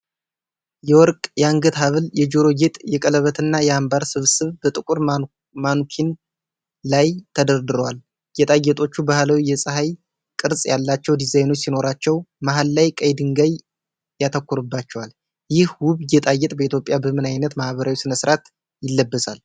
የወርቅ የአንገት ሐብል፣ የጆሮ ጌጥ፣ የቀለበትና የአምባር ስብስብ በጥቁር ማኑኪን ላይ ተደርድረዋል። ጌጣጌጦቹ ባህላዊ የፀሐይ ቅርጽ ያላቸው ዲዛይኖች ሲኖሯቸው፣ መሃል ላይ ቀይ ድንጋይ ያተኩርባቸዋል። ይህ ውብ ጌጣጌጥ በኢትዮጵያ በምን አይነት ማህበራዊ ስነ-ስርዓት ይለበሳል?